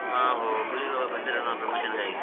ಹಾ ಹುಬ್ಳಿ ಒಳ್ಗ್ ಬಂದಿದ್ರನ್ promotion ಗಾಗಿ.